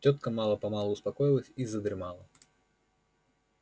тётка мало-помалу успокоилась и задремала